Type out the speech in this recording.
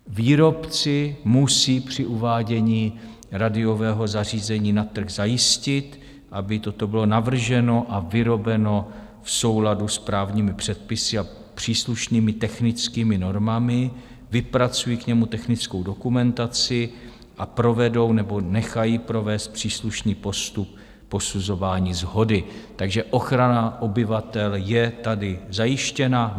Výrobci musí při uvádění radiového zařízení na trh zajistit, aby toto bylo navrženo a vyrobeno v souladu s právními předpisy a příslušnými technickými normami, vypracují k němu technickou dokumentaci a provedou nebo nechají provést příslušný postup posuzování shody, takže ochrana obyvatel je tady zajištěna.